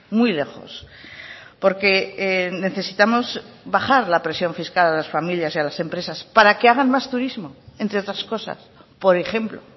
muy lejos porque necesitamos bajar la presión fiscal a las familias y a las empresas para que hagan más turismo entre otras cosas por ejemplo